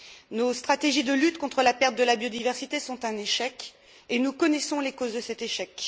Nos stratégies de lutte contre la perte de la biodiversité sont un échec et nous connaissons les causes de cet échec.